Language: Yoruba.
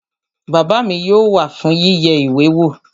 Bàbá mi yóò wá fún yíyẹ ìwé wò